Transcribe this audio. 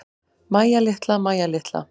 Mæja litla, Mæja litla.